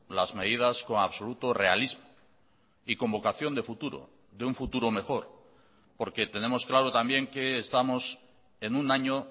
las medidas con absoluto realismo y con vocación de futuro de un futuro mejor porque tenemos claro también que estamos en un año